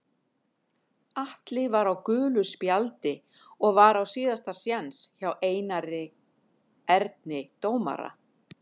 Atli var á gulu spjaldi og var á síðasta séns hjá Einari Erni dómara.